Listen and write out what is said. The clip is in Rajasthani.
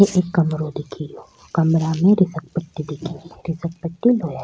एक कमरों दिख रो कमरों में घिसल पट्टी दिख री घिसल पटी लोहा --